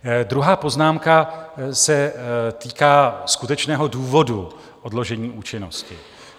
Druhá poznámka se týká skutečného důvodu odložení účinnosti.